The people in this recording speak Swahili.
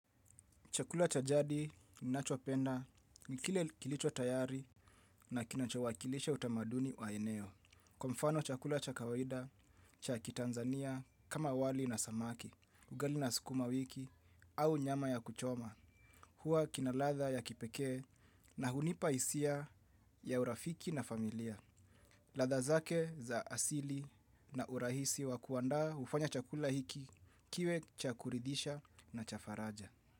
Chakula cha jadi ninachopenda ni kile kilicho tayari na kinachowakilisha utamaduni wa eneo. Kwa mfano chakula cha kawaida cha kiTanzania kama wali na samaki, ugali na sukuma wiki au nyama ya kuchoma huwa kina ladha ya kipekee na hunipa hisia ya urafiki na familia. Ladha zake za asili na urahisi wa kuandaa hufanya chakula hiki kiwe cha kuridhisha na cha faraja.